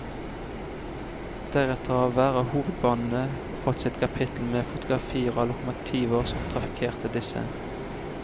Deretter har hver av hovedbanene fått sitt kapittel med fotografier av lokomotiver som trafikkerte disse.